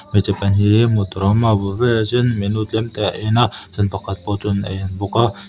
hmeichhe pahnih hi hmuh tur awm a a bul velah chuan menu tlem te a en a chuan pakhat pawh chuan a en bawk a.